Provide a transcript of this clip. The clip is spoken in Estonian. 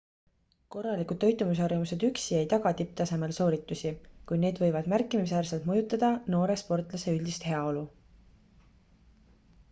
korralikud toitumisharjumused üksi ei taga tipptasemel sooritusi kuid need võivad märkimisväärselt mõjutada noore sportlase üldist heaolu